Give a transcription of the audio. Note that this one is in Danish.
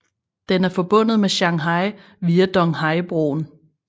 Den er forbundet med Shanghai via Donghaibroen